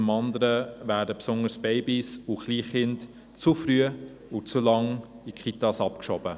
Zum anderen werden insbesondere Babys und Kleinkinder zu früh und zu lange in die Kitas abgeschoben.